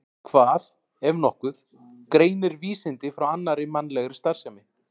Hvað, ef nokkuð, greinir vísindi frá annarri mannlegri starfsemi?